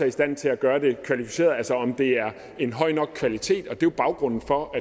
i stand til at gøre det kvalificeret altså om det er en høj nok kvalitet det er jo baggrunden for